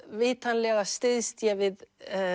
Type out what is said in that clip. vitanlega styðst ég við